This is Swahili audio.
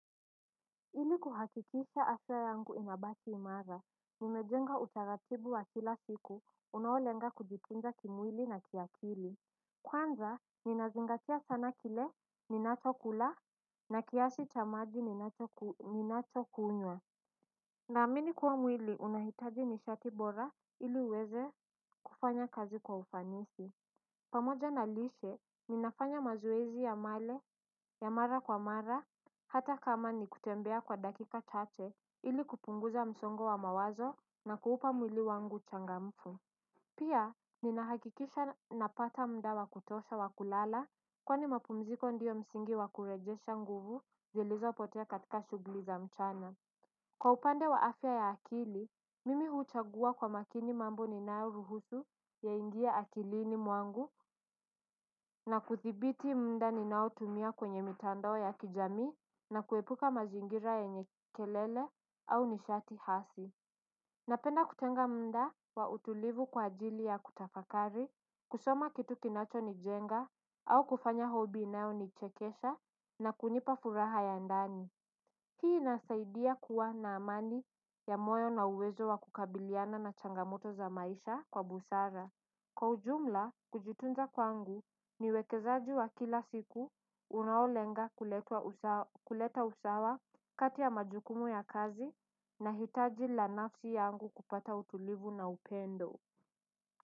Ili kuhakikisha afya yangu inabaki imara, nimejenga utaratibu wa kila siku, unaolenga kujitunza kimwili na kiakili. Kwanza, ninazingatia sana kile ninachokula, na kiasi cha maji ninachokunywa. Naamini kuwa mwili, unahitaji nishati bora ili uweze kufanya kazi kwa ufanisi. Pamoja na lishe, ninafanya mazoezi ya mara kwa mara, hata kama ni kutembea kwa dakika chache ili kupunguza msongo wa mawazo na kuupa mwili wangu changamfu. Pia, ninahakikisha napata muda wa kutosha wa kulala kwani mapumziko ndio msingi wakurejesha nguvu zilizopotea katika shughuli za mchana. Kwa upande wa afya ya akili, mimi huchagua kwa makini mambo ninayoruhusu kuingia akilini mwangu na kuthibiti muda ninaotumia kwenye mitandao ya kijamii na kuepuka mazingira yenye kelele au nishati hasi. Napenda kutenga muda wa utulivu kwa ajili ya kutafakari, kusoma kitu kinacho nijenga au kufanya hobi inayonichekesha na kunipa furaha ya ndani. Hii inasaidia kuwa na amani ya moyo na uwezo wa kukabiliana na changamoto za maisha kwa busara. Kwa ujumla, kujitunza kwangu ni uwekezaji wa kila siku unaolenga kuleta kuleta usawa kati ya majukumu ya kazi na hitaji la nafsi yangu kupata utulivu na upendo.